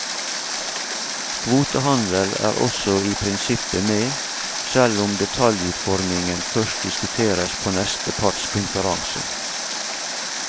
Kvotehandel er også i prinsippet med, selv om detaljutformingen først diskuteres på neste partskonferanse.